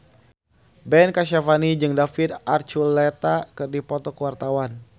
Ben Kasyafani jeung David Archuletta keur dipoto ku wartawan